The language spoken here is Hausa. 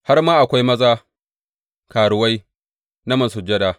Har ma akwai maza karuwai na masujada.